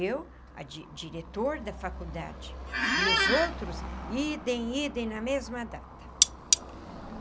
Eu, a di diretor da faculdade, e os outros, idem, idem, na mesma data.